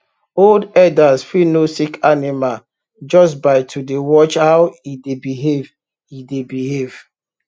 old herders fit know sick animal just by to dey watch how e dey behave e dey behave